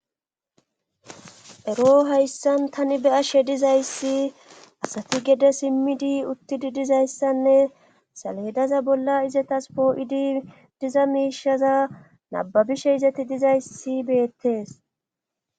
ero hayssan tani be7ashe dizayssi asati gede simmidi uttidi dizayssanne saleedaza bolla izetas poo7idi diza miishaza nababishe izeti dizayssi beettes.